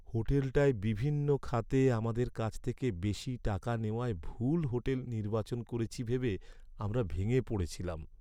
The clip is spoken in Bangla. হোটেলটায় বিভিন্ন খাতে আমাদের কাছ থেকে বেশি টাকা নেওয়ায় ভুল হোটেল নির্বাচন করেছি ভেবে আমরা ভেঙে পড়েছিলাম।